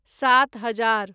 सात हजार